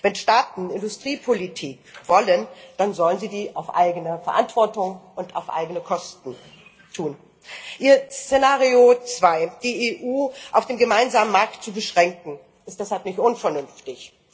Wenn Staaten Industriepolitik wollen, dann sollen sie dies auf eigene Verantwortung und auf eigene Kosten tun. Ihr Szenario 2, die EU auf den gemeinsamen Markt zu beschränken, ist deshalb nicht unvernünftig!